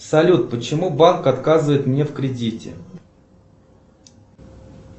салют почему банк отказывает мне в кредите